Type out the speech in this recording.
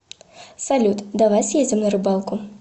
салют давай съездим на рыбалку